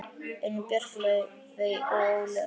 Elín Björk, Laufey og Ólöf.